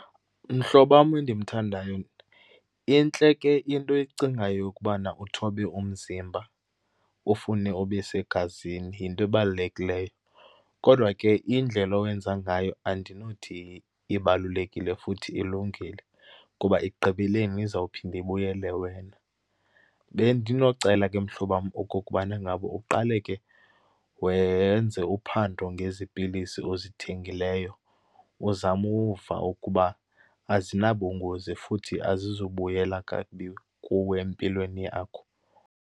Mhlobo wam endimthandayo, intle ke into oyicingayo yokubana uthobe umzimba ufune ube segazini. Yinto ebalulekileyo, kodwa ke indlela owenza ngayo andinothi ibalulekile futhi ilungile ngoba ekugqibeleni izawuphinda ibuyele wena. Bendinocela ke mhlobo wam okokubana ngaba uqale ke wenze uphando ngezi pilisi uzithengileyo, uzame uva ukuba azinabungozi futhi azizubuyela kakubi kuwe empilweni yakho.